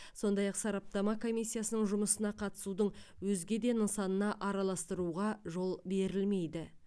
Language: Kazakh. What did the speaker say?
сондай ақ сараптама комиссиясының жұмысына қатысудың өзге де нысанына араластыруға жол берілмейді